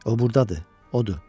O burdadır, odur.